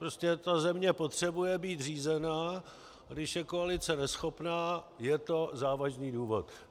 Prostě ta země potřebuje být řízená, a když je koalice neschopná, je to závažný důvod.